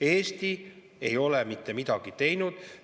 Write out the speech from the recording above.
Eesti ei ole mitte midagi teinud.